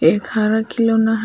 एक हरा खाना खिलौना है।